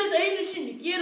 einu sinni gerir